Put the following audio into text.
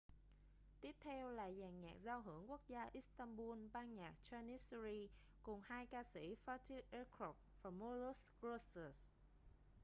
tiếp theo là dàn nhạc giao hưởng quốc gia istanbul ban nhạc janissary cùng hai ca sĩ fatih erkoç và müslüm gürses